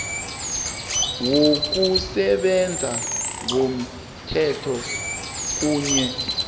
wokusebenza ngomthetho kunye